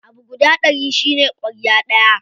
Abu guda ɗari shine ƙwarya ɗaya.